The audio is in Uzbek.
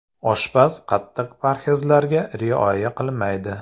Oshpaz qattiq parhezlarga rioya qilmaydi.